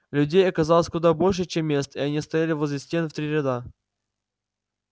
людей оказалось куда больше чем мест и они стояли возле стен в три ряда